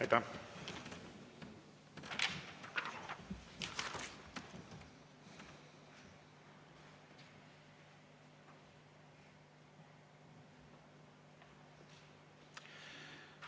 Aitäh!